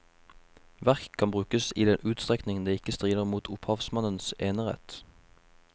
Verk kan brukes i den utstrekning det ikke strider mot opphavsmannens enerett.